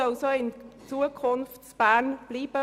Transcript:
So soll es auch in Zukunft in Bern sein und bleiben.